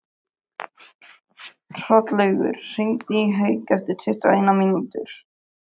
Hrollaugur, hringdu í Hauk eftir tuttugu og eina mínútur.